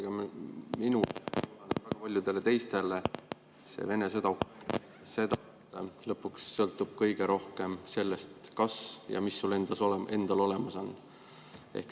Aga minule ja paljudele teistele tundub, et selle Vene sõja lõpuks sõltub kõik kõige rohkem sellest, mis sul endal olemas on.